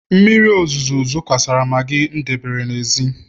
mmiri ozuzo zokwasara maggi m debere n'èzí